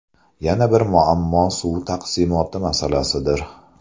Yana bir muammo suv taqsimoti masalasidir.